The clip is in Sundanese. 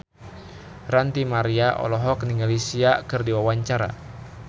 Ranty Maria olohok ningali Sia keur diwawancara